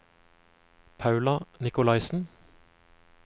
Paula Nicolaisen